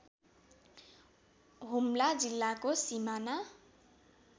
हुम्ला जिल्लाको सिमाना